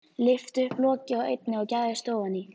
Lyfti upp loki á einni og gægðist ofan í.